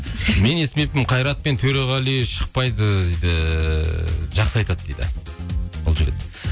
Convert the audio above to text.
мен естімеппін қайрат пен төреғали шықпайды дейді жақсы айтады дейді бұл жігіт